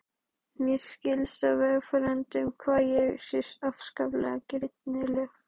Mér skilst á vegfarendum hér að ég sé afskaplega girnileg.